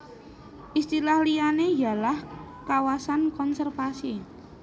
Istilah liyane yalah kawasan konservasi